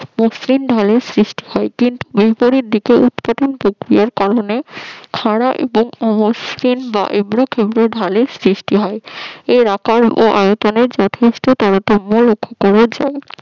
এই হিমবাহের সৃষ্টি হয় কিন্তু বিপরীত দিকে উৎপাদন প্রক্রিয়ার কারণে খরা মসৃণ বা উগ্র প্রান্তে ঢালের সৃষ্টি হয় এর আকার ও আয়তনের যথেষ্ট তারতম লক্ষ্য করা যায়